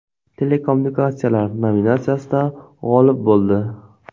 Telekommunikatsiyalar” nominatsiyasida g‘olib bo‘ldi.